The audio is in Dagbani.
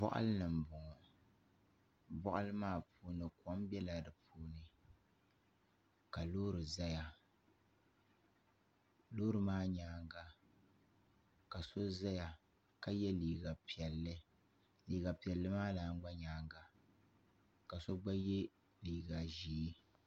Boɣali ni n boŋo boɣali maa puuni kom biɛla di puuni ka loori ʒɛya loori maa nyaanga ka so ʒɛya ka yɛ liiga piɛlli liiga piɛlli maa lan gba nyaanga ka so gba yɛ liiga ʒiɛ